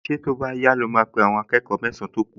Ṣé tó bá yá ló máa pe àwọn akẹ́kọ̀ọ mẹ́san-án tó kù?